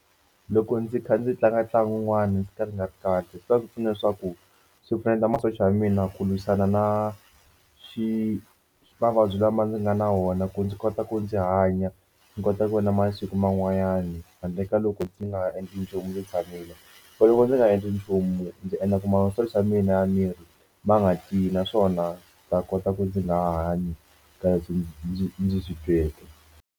Loko ndzi kha ndzi tlanga ntlangu wun'wana ndzi kha ndzi nga ri kahle swi ta ndzi pfuna leswaku swi pfuneta masocha ya mina ku lwisana na xi mavabyi lama nga na wona ku ndzi kota ku ndzi hanya. Ndzi kota ku vona masiku man'wanyana handle ka loko ndzi nga endli nchumu ndzi tshamile loko ndzi nga endli nchumu ndzi endla ku masocha ya mina ya miri ma nga tiyi naswona ta kota ku ndzi nga ha hanyi kahle ndzi ndzi ndzi swi tweke.